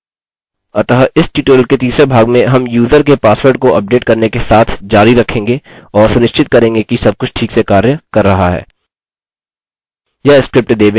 अतः इस ट्यूटोरियल के तीसरे भाग में हम यूजर के पासवर्ड को उपडेट करने के साथ जारी रखेंगे और सुनिश्चित करेंगे कि सबकुछ ठीक से कार्य कर रहा है